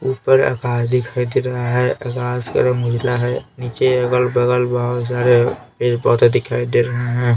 ऊपर आकाश दिखाई दे रहा है आकाश का रंग उजला है नीचे अगल बगल बहुत सारे पेज पौधे दिखाई दे रहे हैं.